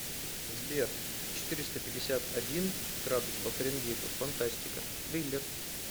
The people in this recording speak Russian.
сбер четыреста пятьдесят один градус по фаренгейту фантастика триллер